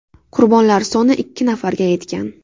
Qurbonlar soni ikki nafarga yetgan.